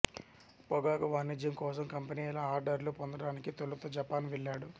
పొగాకు వాణిజ్యం కోసం కంపెనీల ఆర్డర్లు పొందడానికి తొలుత జపాన్ వెళ్ళాడు